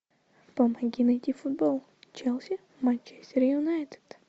помоги найти футбол челси манчестер юнайтед